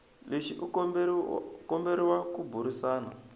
lexi u komberiwa ku burisana